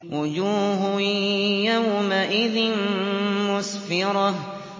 وُجُوهٌ يَوْمَئِذٍ مُّسْفِرَةٌ